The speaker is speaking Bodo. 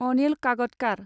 अनिल काकदकार